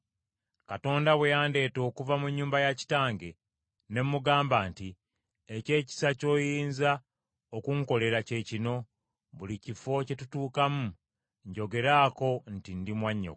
Katonda bwe yandeeta okuva mu nnyumba ya kitange, ne mugamba nti, ‘Eky’ekisa ky’oyinza okunkolera kye kino, buli kifo kye tutuukamu njogeraako nti ndi mwannyoko.’ ”